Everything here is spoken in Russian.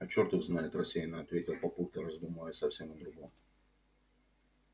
а чёрт их знает рассеяно ответил папулька раздумывая совсем о другом